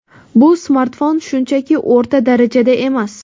Bu smartfon shunchaki o‘rta darajada emas.